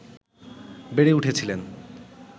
বেড়ে উঠেছিলেন